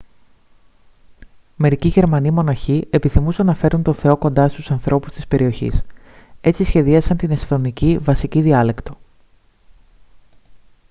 μερικοί γερμανοί μοναχοί επιθυμούσαν να φέρουν τον θεό κοντά στους ανθρώπους της περιοχής έτσι σχεδιάσαν την εσθονική βασική διάλεκτο